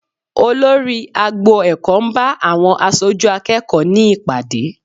Olórí agbo ẹ̀kọ́ ń bá àwọn aṣojú akẹ́kọ̀ọ́ ní ìpàdé